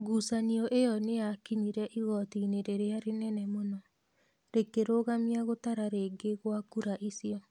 Ngucanio ĩyo nĩ yakinyire igooti-inĩ rĩrĩa inene mũno. Rĩkĩrogamia gũtara rĩngĩ gwa kura icio.